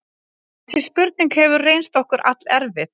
Þessi spurning hefur reynst okkur allerfið.